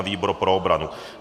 A výbor pro obranu.